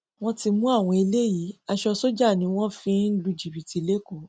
wọn ti mú àwọn eléyìí aṣọ sójà ni wọn fi ń lu jìbìtì lẹkọọ